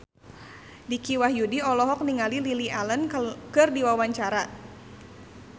Dicky Wahyudi olohok ningali Lily Allen keur diwawancara